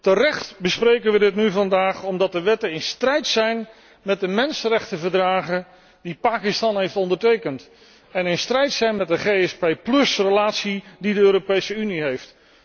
Terecht bespreken wij dit nu vandaag omdat de wetten in strijd zijn met de mensenrechtenverdragen die Pakistan heeft ondertekend en in strijd zijn met de GSP relatie die het met de Europese Unie heeft.